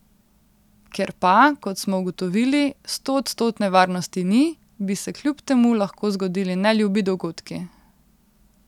Ker pa, kot smo ugotovili, stoodstotne varnosti ni, bi se kljub temu lahko zgodili neljubi dogodki.